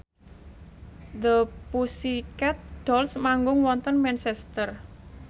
The Pussycat Dolls manggung wonten Manchester